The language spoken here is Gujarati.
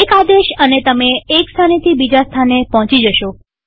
એક આદેશ અને તમે એક સ્થાનેથી બીજા સ્થાને પોહચી જશો